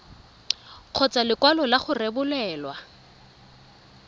kgotsa lekwalo la go rebolelwa